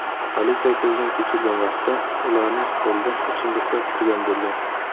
Politsiya ko‘zdan kechirgan vaqtda ularning stolida ichimliklar turgan bo‘lgan.